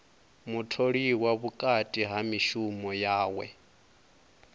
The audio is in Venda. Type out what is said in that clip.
mutholiwa vhukati ha mishumo yawe